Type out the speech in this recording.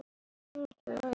Þetta liggur fyrir.